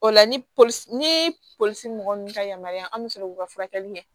O la ni polisi ni polisi mɔgɔ ninnu ka yamaruya an bɛ sɔrɔ k'u ka furakɛli kɛ